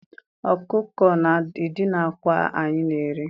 Ọkụkọ na-edina akwa anyị na-eri.